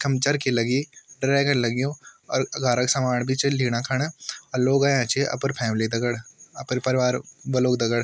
इखम चरखी लगीं ड्रैगन लग्युं और घार क सामान भी च लीणा-खाणा अर लोग अयां छिन अपर फॅमिली दगड अपर परिवार वालो दगड।